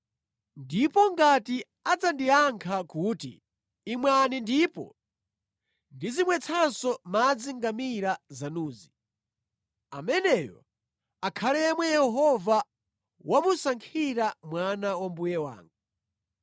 ndipo ngati adzandiyankha kuti, ‘Imwani ndipo ndizimwetsanso madzi ngamira zanuzi,’ ameneyo akhale yemwe Yehova wamusankhira mwana wa mbuye wanga.”